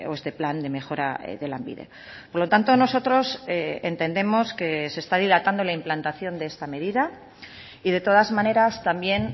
este plan de mejora de lanbide por lo tanto nosotros entendemos que se está dilatando la implantación de esta medida y de todas maneras también